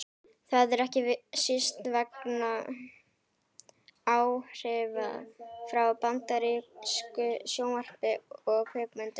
það er ekki síst vegna áhrifa frá bandarísku sjónvarpi og kvikmyndum